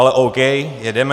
Ale OK. Jedeme.